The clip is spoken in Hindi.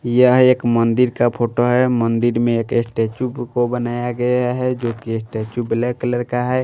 यह एक मंदिर का फोटो है मंदिर में एक स्टैचू को बनाया गया है जो कि स्टैचू ब्लैक कलर का है।